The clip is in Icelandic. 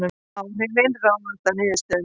Áhrifin ráðast af niðurstöðunni